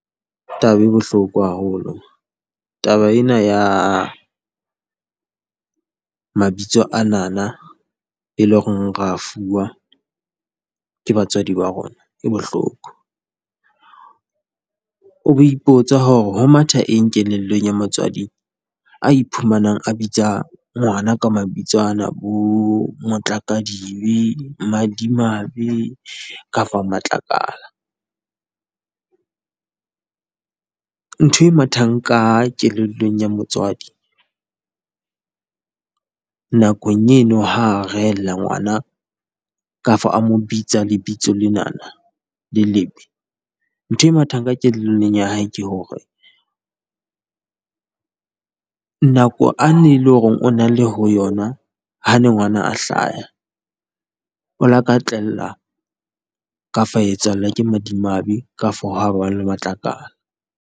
Taba e bohloko haholo, taba ena ya mabitso anana, eo e leng hore re a fuwa ke batswadi ba rona e bohloko. O be ipotsa hore ho matha eng kelellong ya motswadi a iphumanang a bitsa ngwana ka mabitso ana, bo Motla-ka-dibe, Madimabe kafa Matlakala . Ntho e mathang ka kelellong ya motswadi nakong eno, ha a rehellla ngwana kafa a mo bitsa lebitso lenana le lebe, ntho e mathang ka kelellong ya ha ke hore, nako eo a neng le hore o na le ho yona ha ne ngwana a hlaha, o la ka tlellwa kafa a etsahallwa ke madimabe kafa ha ba le matlakala.